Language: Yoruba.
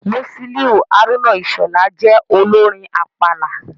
Musiliu Haruna Ishola jẹ́ olórin àpàlà.